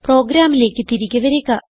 പ്രോഗ്രാമിലേക്ക് തിരികെ വരിക